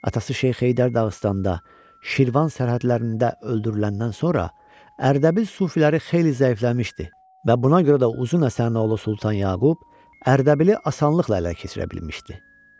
Atası Şeyx Heydər Dağıstanda Şirvan sərhədlərində öldürüləndən sonra Ərdəbil sufiləri xeyli zəifləmişdi və buna görə də uzun əsər oğlu Sultan Yaqub Ərdəbili asanlıqla ələ keçirə bilmişdi.